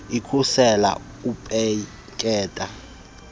ikhusele ukupetyeka kwentamo